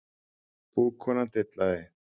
Búkonan dillaði